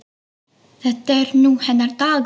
Þetta er nú hennar dagur.